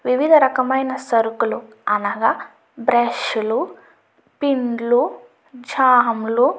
వివిధ రకమైన సరుకులు అనగా బ్రష్ లు పిన్ లు జాం లు --